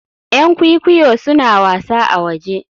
Yan kwikwiyo suna wasa a waje